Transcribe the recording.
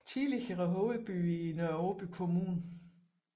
Tidligere hovedby i Nørre Aaby Kommune